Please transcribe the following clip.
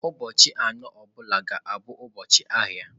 Ụbọchị anọ ọ bụla ga-abụ ụbọchị ahịa.